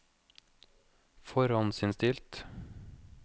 forhåndsinnstilt